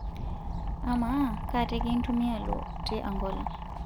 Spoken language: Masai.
amaa kaa teke intumia alotie Angola